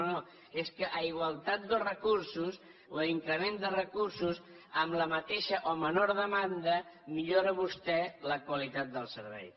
no no és que a igualtat dels recursos o a increment de recursos amb la mateixa o menor demanda millora vostè la qualitat del servei